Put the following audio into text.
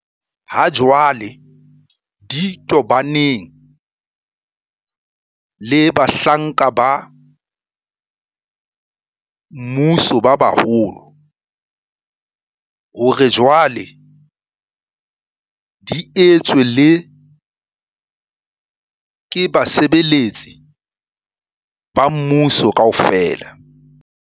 Hajwale di tobaneng le bahlanka ba mmuso ba baholo hore jwale di etswe le ke basebetsi ba mmuso kaofela.